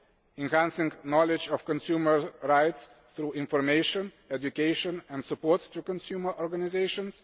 enhancing knowledge of consumer rights through information, education and support to consumer organisations